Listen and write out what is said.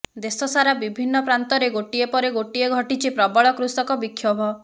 ଦେଶ ସାରା ବିଭିନ୍ନ ପ୍ରାନ୍ତରେ ଗୋଟିଏ ପରେ ଗୋଟିଏ ଘଟିଛି ପ୍ରବଳ କୃଷକ ବିକ୍ଷୋଭ